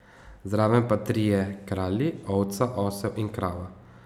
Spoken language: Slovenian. Zraven pa trije kralji, ovca, osel in krava.